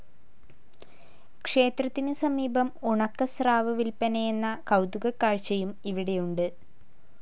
ക്ഷേത്രത്തിന് സമീപം ഉണക്കസ്രാവ് വില്പനയെന്ന കൗതുക കാഴ്ചയും ഇവിടെയുണ്ട്.